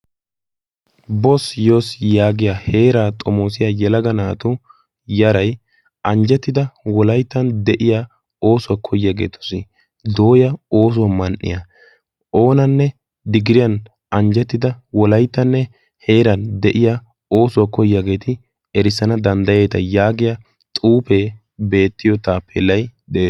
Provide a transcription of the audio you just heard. Bos yoos yaagiya heeraa xomoosiya yalaga naato yarai anjjettida wolaittan de'iya oosuwaa koyaageetosi dooya oosuwaa man"iyaa oonanne digiriyan anjjettida wolaittanne heeran de'iya oosuwaa koyaageeti erissana danddayeeta yaagiya xuufee beettiyo taappelay de'ees.